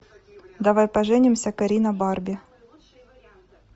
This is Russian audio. давай поженимся карина барби